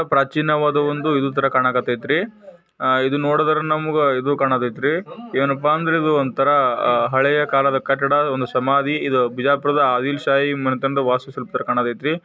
ಪ್ರಾಚೀನವಾದ ಒಂದು ಇದು ಕಾಣತೈತ್ರಿ ಇದು ನೋಡಿದ್ರೆ ನಮಗೆ ಇದು ಕಣತಾಯಿತ್ರಿ ಏನಪ್ಪಾ ಅಂದ್ರೆ ಒಂದು ಹಳೆ ಕಾಲದ ಕಟ್ಟಡ ಸಮಾಧಿ ಬಿಜಾಪುರದ ಆದಿಲ್ ಶಾಹಿ ವಾಸಿಸುತ್ತಿರುವಂತಹದು.